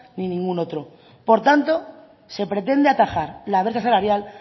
ni ningún otro por tanto se pretende atajar la brecha salarial